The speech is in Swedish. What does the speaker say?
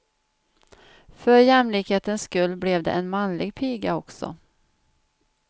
För jämlikhetens skull blev det en manlig piga också.